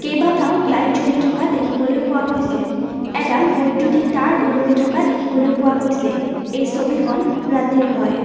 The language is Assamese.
কেইবাটাও লাইট জ্বলি থকা দেখিবলৈ পোৱা গৈছে এডাল বৈদ্যুতিক তাঁৰ ওলমি থকা দেখিবলৈ পোৱা গৈছে এই ছবিখন ৰাতিৰ হয়।